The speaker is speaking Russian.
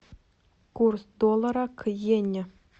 курс доллара к йене